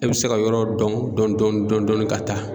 E bɛ se ka yɔrɔ dɔn dɔɔni dɔɔni dɔɔni dɔɔni ka taa.